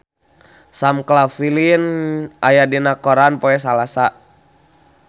Sam Claflin aya dina koran poe Salasa